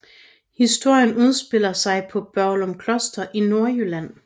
Historien udspiller sig på Børglum Kloster i Nordjylland